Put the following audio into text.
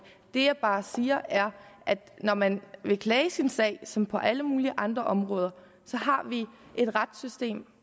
det jeg bare siger er at når man vil klage sin sag som på alle mulige andre områder så har vi et retssystem